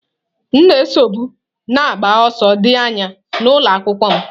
M na-esobu na-agba ọsọ dị anya n'ụlọ akwụkwọ m.